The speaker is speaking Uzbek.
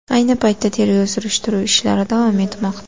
Ayni paytda tergov-surishtiruv ishlari davom etmoqda.